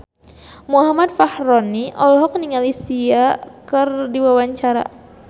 Muhammad Fachroni olohok ningali Sia keur diwawancara